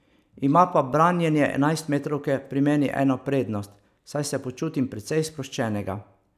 Ima pa branjenje enajstmetrovke pri meni eno prednost, saj se počutim precej sproščenega.